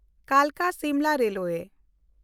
Kalka-Simla railway